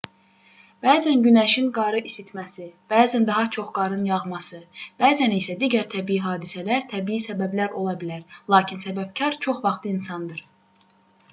bəzən günəşin qarı isitməsi bəzən daha çox qarın yağması bəzən isə digər təbii hadisələr təbii səbəblər ola bilər lakin səbəbkar çox vaxt insandır